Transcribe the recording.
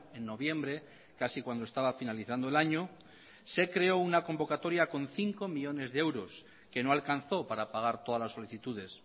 en noviembre casi cuando estaba finalizando el año se creó una convocatoria con cinco millónes de euros que no alcanzó para pagar todas las solicitudes